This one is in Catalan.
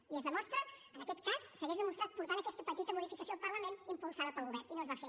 i en aquest cas s’hagués demostrat portant aquesta petita modificació al parlament impulsada pel govern i no es va fer